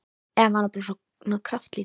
Eða var hann bara svona kraftlítill?